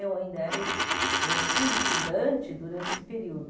Eu ainda era es eu fui estudante durante esse período.